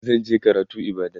zan je karatu ibadan